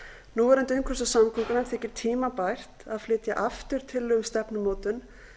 núverandi umhverfis og samgöngunefnd þykir tímabært að flytja aftur tillögu um stefnumótun